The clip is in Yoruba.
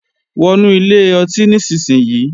Wọnú ilé ọtí nísinsìnyí!